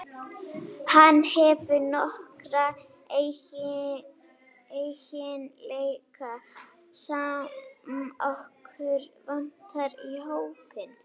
Hann hefur nokkra eiginleika sem okkur vantar í hópinn.